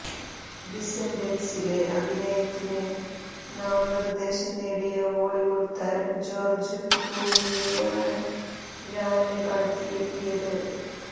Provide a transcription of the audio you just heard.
ഡിസന്റന്സിലെ അഭിനയത്തിന് നാമനിര്ദ്ദേശം നേടിയ ഹോളിവുഡ് താരം ജോര്ജ് ക്ലൂണിയെയാണ് ഴാന് കടത്തിവെട്ടിയത്